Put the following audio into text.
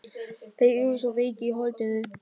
Þeir eru svo veikir í holdinu.